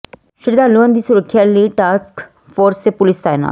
ਸ਼ਰਧਾਲੂਆਂ ਦੀ ਸੁਰੱਖਿਆ ਲਈ ਟਾਸਕ ਫੋਰਸ ਤੇ ਪੁਲੀਸ ਤਾਇਨਾਤ